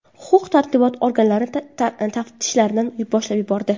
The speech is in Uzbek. Huquq-tartibot organlari taftishlarni boshlab yubordi.